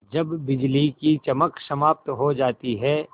जब बिजली की चमक समाप्त हो जाती है